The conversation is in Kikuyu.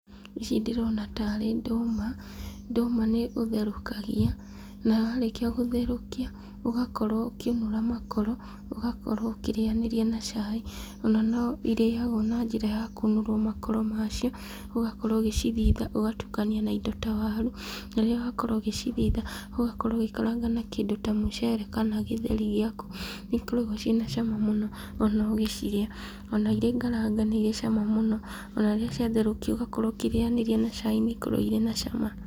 Ici ndĩrona tarĩ ndũma, ndũma nĩũtherũkagia, na warĩkia gũtherũkia, ũgakorwo ũkĩũnũra makoro, ũgakorwo ũkĩrĩanĩria na cai, ona no irĩagwo na njĩra ya kũnũrwo makoro macio, ũgakorwo ũgĩcithitha ũgatukania na indo ta waru. Na rĩrĩa wakorwo ũgĩcithitha, ũgakorwo ũgĩkaranga na kindũ ta mũcere na gĩtheri gĩaku. Nĩikoragwo cĩina cama mũno ona ũgĩcirĩa, ona irĩ ngarange nĩ irĩ cama mũno. Ona rĩrĩa ciatherũkio ũgakorwo ũkĩrĩanĩrĩa na cai nĩikoragwo ciĩ na cama.